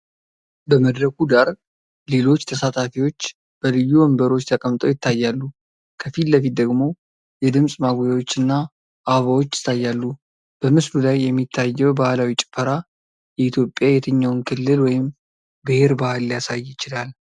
በመድረኩ ዳር ሌሎች ተሳታፊዎች በልዩ ወንበሮች ተቀምጠው ይታያሉ፣ ከፊት ለፊት ደግሞ የድምጽ ማጉያዎች እና አበባዎች ይታያሉ። በምስሉ ላይ የሚታየው ባህላዊ ጭፈራ የኢትዮጵያ የትኛውን ክልል ወይም ብሔር ባህል ሊያሳይ ይችላል?